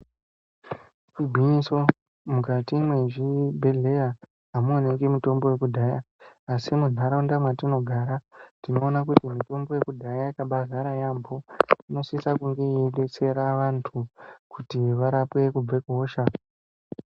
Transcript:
Igwinyiso mukati mwezvibhedhleya amuwaniki mitombo yekudhaya asi muntaraunda mwatinogara tinowana kuti mitombo yekudhaya yakabadzara yambo inosisa kunge yeidetsera vantu kuti varapwe kubve kuhosha.